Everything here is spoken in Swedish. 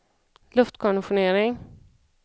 luftkonditionering